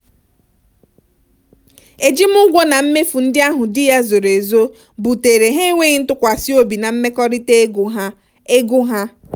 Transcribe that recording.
ejimụgwọ na mmefu ndị ahụ di ya zoro ezo butere ha enwéghị ntụkwasịobi na mmekọrịta ego ha. ego ha.